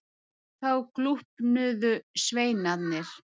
Þá glúpnuðu sveinarnir.